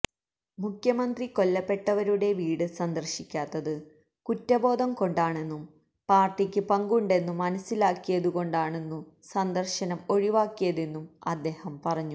മുഖ്യമന്ത്രി കൊല്ലപ്പെട്ടവരുടെ വീട് സന്ദർശിക്കാത്തത് കുറ്റബോധം കൊണ്ടാണെന്നും പാർട്ടിക്ക് പങ്കുണ്ടെന്നു മനസിലാക്കിയതു കൊണ്ടാണു സന്ദർശനം ഒഴിവാക്കിയതെന്നും അദ്ദേഹം പറഞ്ഞു